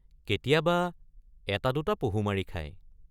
কেতিয়াব৷ এটা দুটা পহু মাৰি খায় ।